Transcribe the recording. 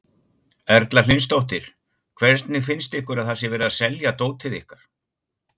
Erla Hlynsdóttir: Hvernig finnst ykkur að það sé verið að selja dótið ykkar?